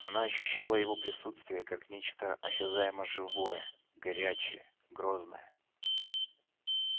она ощущала его присутствие как нечто осязаемо-живое горячее грозное